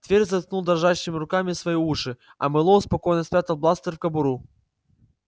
твер заткнул дрожащими руками свои уши а мэллоу спокойно спрятал бластер в кобуру